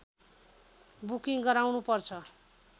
booking गराउनु पर्छ